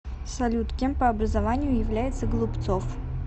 салют кем по образованию является голубцов